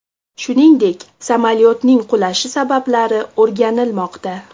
Shuningdek, samolyotning qulashi sabablari o‘rganilmoqda.